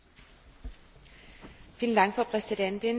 Frau Präsidentin, geschätzte Kolleginnen und Kollegen!